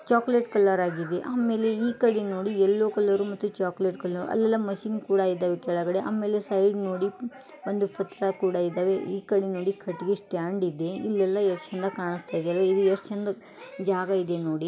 Chocolate colour ಆಗಿದೆ ಆಮೇಲೆ ಈಕಡೆ ನೋಡಿ ಯಲ್ಲೋ ಕಲರ್ ಮತ್ತು ಚೋಕಲೇಟ್ ಕಲರ್ ಅಲ್ಲೆಲ್ಲ ಮಷೀನ್ ಕೂಡ ಇದಾವೆ ಕೆಳಗೆ ಆಮೇಲೆ ಸೈಡ್ ನೋಡಿ ಒಂದು ಪತ್ರಕೂಡ ಇದಾವೆ ಈಕಡೆ ನೋಡಿ ಕಟ್ಟಿಗೆ ಸ್ಟಾಂಡ್ ಇದೆ ಇಲ್ಲೆಲ್ಲ ಎಷ್ಟು ಚೆಂದಾಗಿ ಕಾಣಸ್ತಾಯಿದೆ ಇಲ್ಲಿ ಎಷ್ಟು ಚಂದ ಜಾಗ ಇದೆ ನೋಡಿ .